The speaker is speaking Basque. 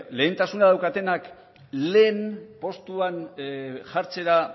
lehentasuna daukatenak lehen postuan jartzera